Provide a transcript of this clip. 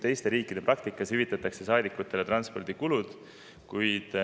Teiste riikide praktikas üldiselt hüvitatakse saadikutele transpordikulud.